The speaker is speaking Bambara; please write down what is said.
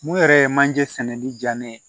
Mun yɛrɛ ye manje sɛnɛni diya ne ye